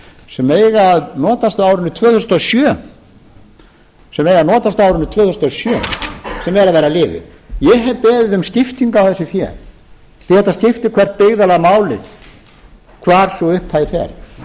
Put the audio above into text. sem eiga að notast á árinu tvö þúsund og sjö sem er að verða liðið ég hef beðið um skiptingu á þessu fé því að þetta skiptir gert byggðarlag máli hvar sú upphæð fer